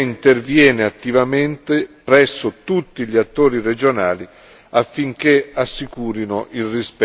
presso tutti gli attori regionali affinché assicurino il rispetto di tali obblighi.